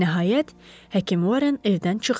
Nəhayət, həkim Horren evdən çıxdı.